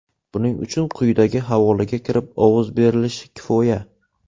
Buning uchun quyidagi havolaga kirib, ovoz berilishi kifoya.